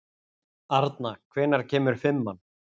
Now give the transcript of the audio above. Arna, hvenær kemur fimman?